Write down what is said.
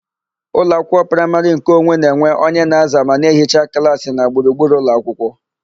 Ụlọakwụkwọ praịmarị nkeonwe na-enwe onye na-aza ma na ehichaa klaasị na gburugburu ụlọakwụkwọ.